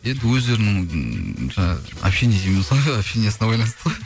енді өздерінің ммм жаңағы общение дейміз ғой общениясына байланысты